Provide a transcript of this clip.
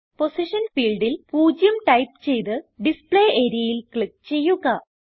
position ഫീൽഡിൽ 0 type ചെയ്ത് display areaയിൽ ക്ലിക്ക് ചെയ്യുക